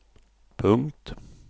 punkt